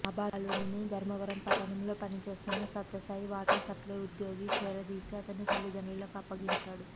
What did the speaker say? ఆ బాలుడిని ధర్మవరం పట్టణంలో పనిచేస్తున్న సత్యసాయి వాటర్సప్లై ఉద్యోగి చేరదీసి అతని తల్లితండ్రులకు అప్పగించాడు